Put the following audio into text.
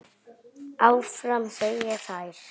Áfram, segja þær.